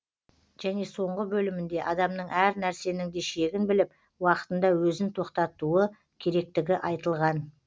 және соңғы бөлімінде адамның әр нәрсенің де шегін біліп уақытында өзін тоқтатуы керектігі айтылған